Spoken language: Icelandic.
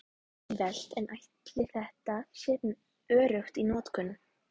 Auðvelt en ætli þetta sé öruggt í notkun?